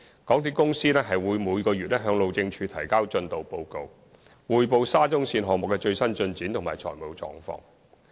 港鐵公司每月會向路政署提交進度報告，匯報沙中線項目的最新進展及財務狀況。